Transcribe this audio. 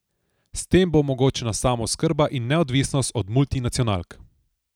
S tem bo omogočena samooskrba in neodvisnost od multinacionalk.